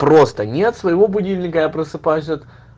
просто нет своего будильника я просыпаюсь от